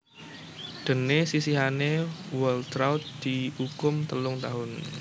Déné sisihane Waltraudt diukum telung taun